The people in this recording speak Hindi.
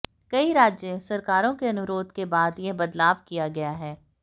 कई राज्य सरकारों के अनुरोध के बाद यह बदलाव किया गया है